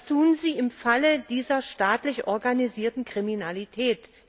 Was tun Sie im Falle dieser staatlich organisierten Kriminalität?